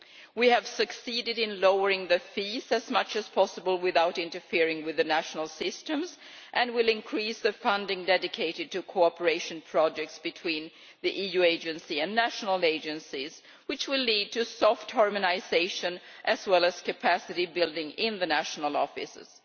We have succeeded in lowering the fees as much as possible without interfering with the national systems, and will increase the funding dedicated to cooperation projects between the EU agency and national agencies, which will lead to soft harmonisation as well as capacity building in the national offices.